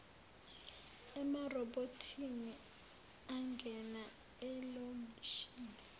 emarobhothini angena elokishini